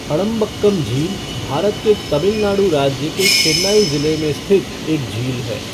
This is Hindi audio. अडंबक्कम झील भारत के तमिलनाडु राज्य के चेन्नई ज़िले में स्थित एक झील है।